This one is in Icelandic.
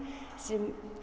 sem